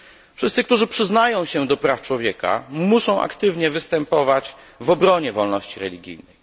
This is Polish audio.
Wszyscy, którzy przyznają się do praw człowieka, muszą aktywnie występować w obronie wolności religijnej.